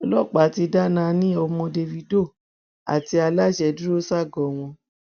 ọlọpàá ti dá nani ọmọ davido àti aláṣẹ dúró ságọọ wọn